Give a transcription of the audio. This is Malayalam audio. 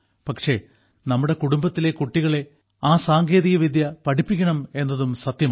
പക്ഷേ നിങ്ങളുടെ കുടുംബത്തിലെ കുട്ടികളെ ആ സാങ്കേതികവിദ്യ പഠിപ്പിക്കണം എന്നതും സത്യമാണ്